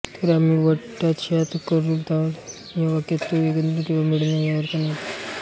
तर आमी वट्टात श्यात करूलावात या वाक्यात तो एकत्र किंवा मिळून या अर्थाने येतो